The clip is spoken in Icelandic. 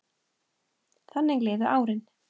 Þannig liðu árin.